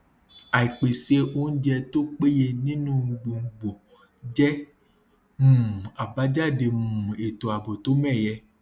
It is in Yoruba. àìpèsè oúnjẹ tó péye nínú gbùngbùn jẹ um abajade um ètò ààbò tó mẹyẹ